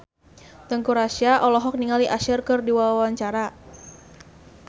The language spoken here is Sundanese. Teuku Rassya olohok ningali Usher keur diwawancara